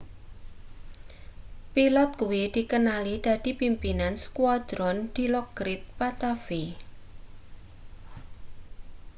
pilot kuwi dikenali dadi pimpinan skuadron dilokrit pattavee